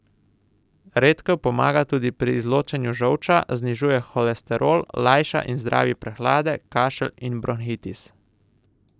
Redkev pomaga tudi pri izločanju žolča, znižuje holesterol, lajša in zdravi prehlade, kašelj in bronhitis.